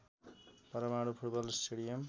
परमाणु football stadium